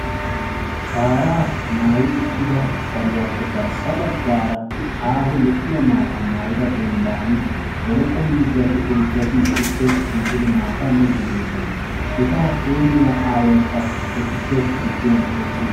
shaara maayyi uttida saluwappe garssa baggara aaho lo''iyaa dembban poroqqo miizzati heezzati miide de'oosona. eta hemmiyaa aawaykka etuppe giduwan eqqiis.